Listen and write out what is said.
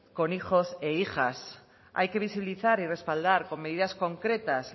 con hijos e hijas hay que visibilizar y respaldar con medidas concretas